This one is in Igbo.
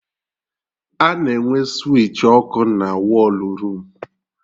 A na-enwe switchi ọkụ na wọlụ room